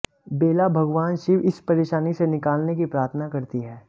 बेला भगवान शिव इस परेशानी से निकालने की प्रार्थना करती है